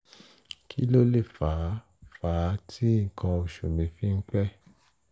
kí ló lè fà á fà á tí nǹkan oṣù mi fi ń pẹ́?